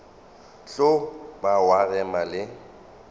tlo ba wa rema le